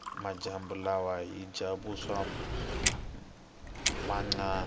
majambu lawa hhija vuswa nanyama